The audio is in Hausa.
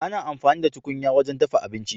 Ana amfani da tukunya wajen dafa abinci.